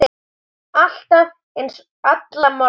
Alltaf eins, alla morgna.